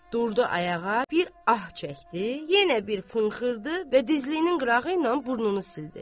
Durdu ayağa, bir ah çəkdi, yenə bir pınxırdı və dizliyinin qırağı ilə burnunu sildi.